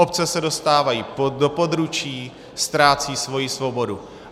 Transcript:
Obce se dostávají do područí, ztrácejí svoji svobodu.